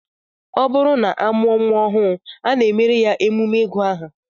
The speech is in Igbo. Ọ bụrụ na a mụọ nnwa ọhụụ, a na-emere ya emume ịgụ aha